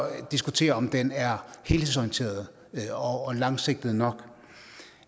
diskutere om den er helhedsorienteret og langsigtet nok